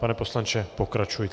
Pane poslanče, pokračujte.